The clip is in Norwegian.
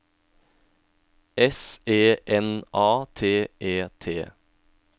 S E N A T E T